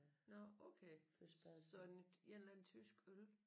Nåh okay så en eller anden tysk øl